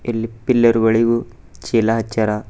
ಇಲ್ಲಿ ಪಿಲ್ಲರ್ ಗಳಿವು ಚೀಲ ಅಚ್ಚಾರ.